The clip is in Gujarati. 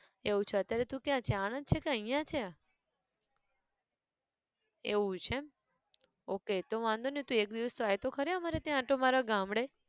એવું છે અત્યારે તું ક્યાં છે આણંદ છે કે અહીંયા છે! એવું છે એમ! okay તું એક દિવસ આય તો ખરી અમારે ત્યાં આંટો મારવા ગામડે